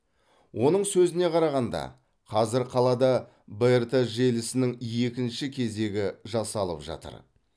оның сөзіне қарағанда қазір қалада брт желісінің екінші кезегі жасалып жатыр